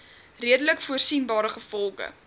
redelik voorsienbare gevolge